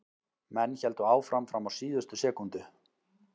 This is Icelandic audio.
Menn héldu áfram fram á síðustu sekúndu.